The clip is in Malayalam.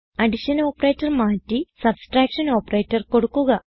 അഡിഷൻ ഓപ്പറേറ്റർ മാറ്റി സബ്ട്രാക്ഷൻ ഓപ്പറേറ്റർ കൊടുക്കുക